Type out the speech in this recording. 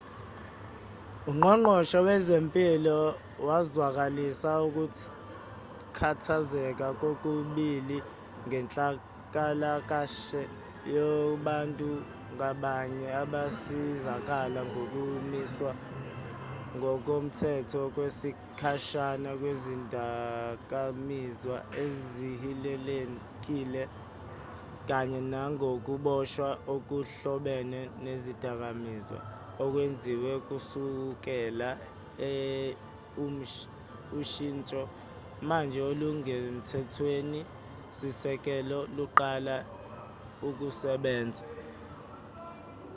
ungqongqoshe wezempilo wazwakalisa ukukhathazeka kokubili ngenhlalakashe yabantu ngabanye abasizakala ngokumiswa ngokomthetho kwesikhashana kwezidakamizwa ezihilelekile kanye nangokuboshwa okuhlobene nezidakamizwa okwenziwe kusukela ushinsho manje olusemthethweni-sisekelo luqale ukusebenza